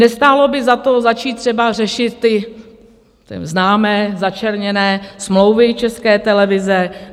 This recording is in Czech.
Nestálo by za to začít třeba řešit ty známé začerněné smlouvy České televize?